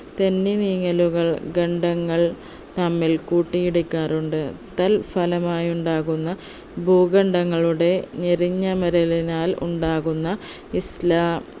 തെന്നി നീങ്ങലുകൾ ഖണ്ഡങ്ങൾ തമ്മിൽ കൂട്ടിയിടിക്കാറുണ്ട് തൽ ഫലമായി ഉണ്ടാകുന്ന ഭൂഖണ്ഡങ്ങളുടെ ഞെരിഞ്ഞമരലിനാൽ ഉണ്ടാക്കുന്ന ഇസ്ലാ